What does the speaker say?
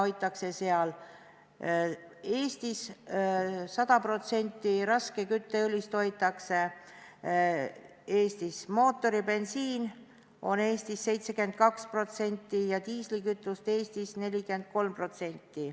100% raskest kütteõlist hoitakse Eestis, mootoribensiini on Eestis 72% ja diislikütust 43%.